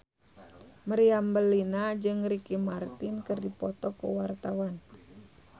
Meriam Bellina jeung Ricky Martin keur dipoto ku wartawan